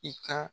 I ka